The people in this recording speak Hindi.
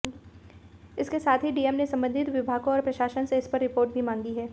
इसके साथ ही डीएम ने संबंधित विभागों और प्रशासन से इसपर रिपोर्ट भी मांगी है